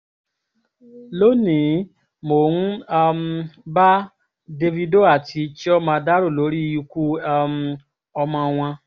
lónìí mò ń um bá davido àti chioma dárò lórí ikú um ọmọ wọn